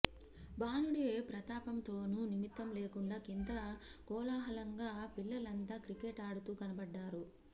భానుడి ప్రతాపంతోనూ నిమిత్తం లేకుండా కింద కోలాహలంగా పిల్లలంతా క్రికెట్ ఆడుతూ కనపడ్డారు